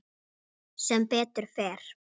Sem betur fer?